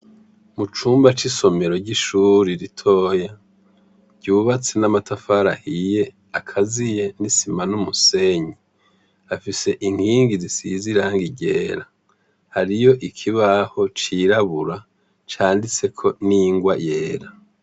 Mu cumba c'isomero ry'ishure ritoyi, ryubatse n'amatafari ahiye akaziye n'isima n'umusenyi, hafise inkingi zisize irangi ryera, hariyo ikibaho c'irabura canditseko n'ingwa yera.